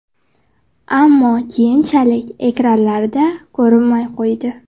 Ammo keyinchalik ekranlarda ko‘rinmay qo‘ydi.